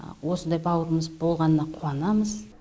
осындай бауырымыз болғанына қуанамыз